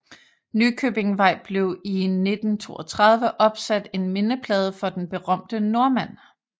Nykøbingvej blev i 1932 opsat en mindeplade for den berømte nordmand